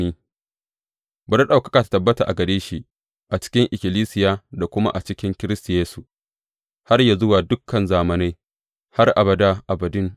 Bari ɗaukaka ta tabbata a gare shi a cikin ikkilisiya da kuma a cikin Kiristi Yesu, har yă zuwa dukan zamanai, har abada abadin!